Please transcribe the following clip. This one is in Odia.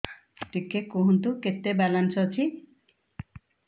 ଟିକେ କୁହନ୍ତୁ କେତେ ବାଲାନ୍ସ ଅଛି